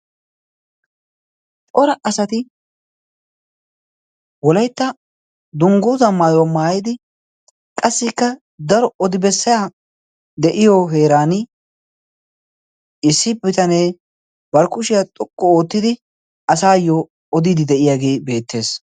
Pora asati wolaytta dungguuzaa maayuwaa maayidi qassikka daro odi bessaya de'iyo heeran issi bitanee barkkushiyaa xuqqu oottidi asaayyo odiidi de'iyaagee beettees.